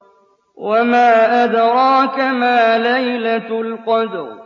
وَمَا أَدْرَاكَ مَا لَيْلَةُ الْقَدْرِ